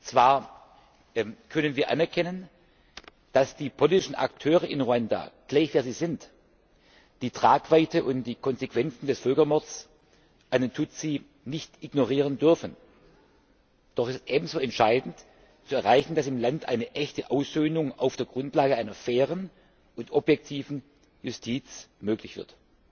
Zwar können wir anerkennen, dass die politischen Akteure in Ruanda, gleich wer sie sind, die Tragweite und die Konsequenzen des Völkermords an den Tutsi nicht ignorieren dürfen, doch es ist ebenso entscheidend zu erreichen, dass im Land eine echte Aussöhnung auf der Grundlage einer fairen und objektiven Justiz möglich wird.